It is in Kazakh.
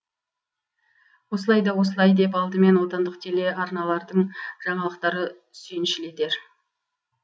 осылай да осылай деп алдымен отандық телеарналардың жаңалықтары сүйіншілетер